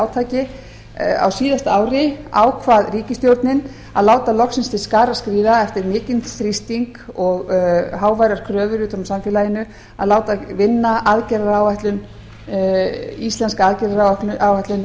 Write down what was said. átaki á síðasta ári ákvað ríkisstjórnin að láta loksins til skarar skríða eftir mikinn þrýsting og háværar kröfur utan úr samfélaginu að láta vinna íslenska aðgerðaráætlun